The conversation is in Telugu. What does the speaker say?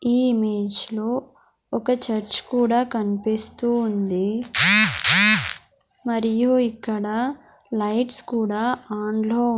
ఈ ఇమేజ్ లో ఒక చర్చ్ కూడా కన్పిస్తూ ఉంది మరియు ఇక్కడ లైట్స్ కూడా ఆన్ లో--